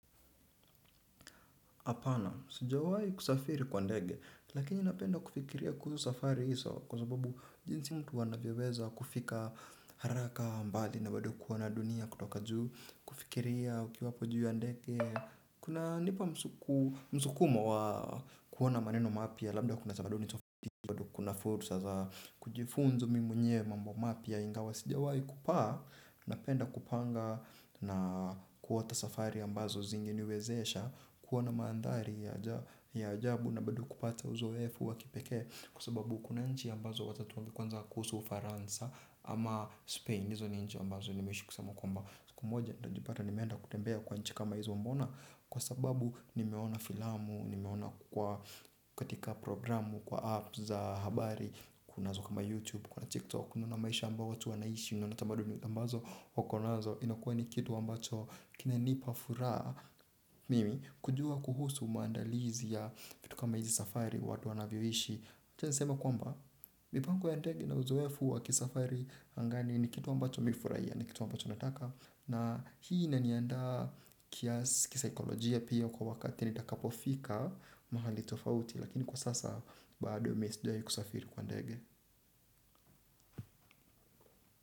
Apana, sijawahi kusafiri kwa ndege, lakini napenda kufikiria kuhusu safari hizo kwa sababu jinsi mtu anavyoweza kufika haraka mbali na bado kuona dunia kutoka juu, kufikiria ukiwa hapo juu ya ndege, kuna nipa msukumo wa kuona maneno mapya labda kuna sabadoni tofati, kuna fursa za kujifunzo mimi mwenyewe mambo mapya ingawa, sijawai kupaa, napenda kupanga na kuota safari ambazo zingeniwezesha, kuwa na maandhari ya ajabu na bado kupata uzoefu wa kipekee kwa sababu kuna nchi ambazo, wacha tuongee kwanza kuhusu, Ufaransa. Ama Spain, hizo ni nchi ambazo nimeishi kusema kwamba, siku moja nitajipata nimeenda kutembea kwa nchi kama hizo mbona? Kwa sababu nimeona filamu, nimeona kukua katika programu, kwa app za habari, kunazo kama YouTube, kuna TikTok, unaona maisha ambayo watu wanaishi na tamadu ambazo wakonazo inakuwa ni kitu ambacho kinanipa furaha. Mimi, kujua kuhusu maandalizi ya vitu kama hizi safari, watu wanavyoishi. Siwezi sema kwamba mipango ya ndege na uzoefu wa kisafari angani ni kitu ambacho mimi hufurahia, ni kitu ambacho nataka, na hii inaniandaa kisaikolojia pia kwa wakati nitakapofika mahali tofauti. Lakini kwa sasa bado mimi sijai kusafiri kwa ndege.